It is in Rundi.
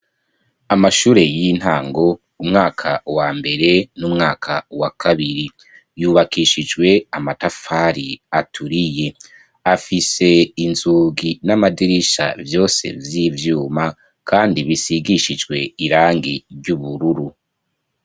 Amashure y'intango, umwaka wa mbere n'umwaka wa kabiri. Yubakishijwe n'amatafari aturiye. Afise inzugi n'amadirisha vyose vy'ivyuma kandi bisigishijwe irangi ry'ubururu.